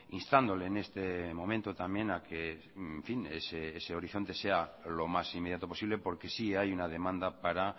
instándole en este momento también a que en fin ese horizonte sea lo más inmediato posible porque sí hay una demanda para